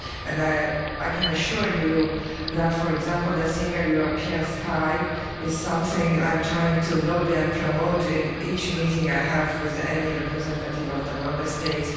I hope I can assure you that, for example, the single European sky is something I'm trying to lobby for and promote in each meeting I have with any representative of the Member States.